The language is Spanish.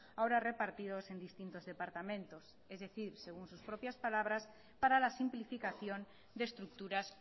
ahora repartidos en distintos departamentos es decir según sus propias palabras para la simplificación de estructuras